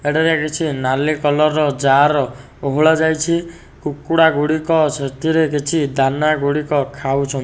ଏଠାରେ କିଛି ନାଲି କଲରର ଜାର୍ ଓହଳାଯାଇଛି। କୁକୁଡ଼ା ଗୁଡ଼ିକ ସେଥିରେ କିଛି ଦାନା ଗୁଡ଼ିକ ଖାଉଚ --